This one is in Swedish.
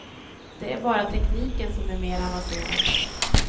Det är bara tekniken som är mer avancerad.